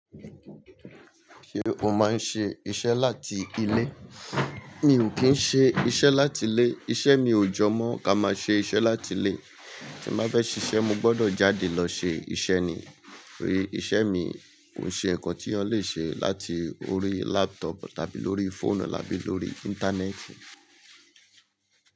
Ṣé o máa ń ṣe iṣẹ́ láti ilé? Mi ò kí n ṣe iṣẹ́ láti ilé. Iṣẹ́ mi ò jọ mọ́ ká má ṣe iṣẹ́ láti ilé. Tí n bá fẹ́ ṣíṣe, mo gbọdọ̀ jáde lọ ṣe iṣẹ́ ni. Ó ye iṣẹ́ mi kò ṣe nǹkan tí eyan le ṣe láti orí laptop tàbí lórí fóònù tàbí lórí Íńtánẹ́ẹ̀tì.